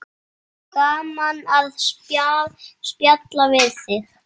Gaman að spjalla við þig.